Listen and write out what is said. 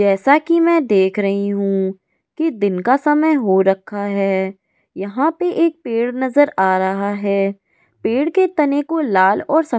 जैसा की मै देख रही हू की दिन का समय हो रखा है यहा पे एक पेड़ नजर आ रहा है पेड़ के तने को लाल और स --